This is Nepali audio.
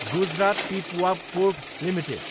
Gujarat Pipavav port Ltd